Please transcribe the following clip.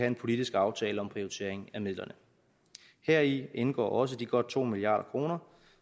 en politisk aftale om prioritering af midlerne heri indgår også de godt to milliard kr